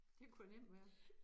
Det kunne jo nemt være